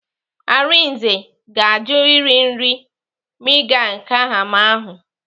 Arinze ga-ajụ iri nri miang kham ahụ.